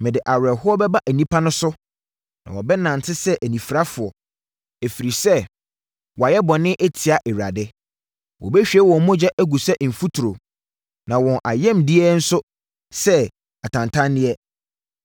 “Mede awerɛhoɔ bɛba nnipa no so na wɔbɛnante sɛ anifirafoɔ, ɛfiri sɛ wɔayɛ bɔne atia Awurade. Wɔbɛhwie wɔn mogya agu sɛ mfuturo, na wɔn ayamdeɛ nso sɛ atantanneɛ.